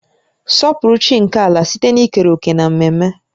Sọpụrụ chi nke ala site n'ikere òkè n'ememe